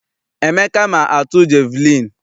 Emeka ma atu jeviliini.